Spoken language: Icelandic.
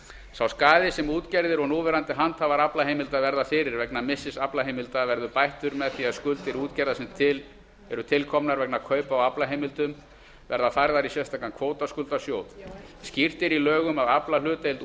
sá skaði sem útgerðir og núverandi handhafar aflaheimilda verða fyrir vegna missis aflaheimilda verður bættur með því að skuldir útgerða sem eru til komnar vegna kaupa á aflaheimildum verða færðar í sérstakan kvótaskuldasjóð skýrt er í lögum að aflahlutdeild